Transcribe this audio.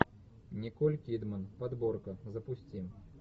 николь кидман подборка запусти